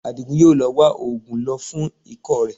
Àdìgún yóò lọ wá oògùn lò fún ikọ́ rẹ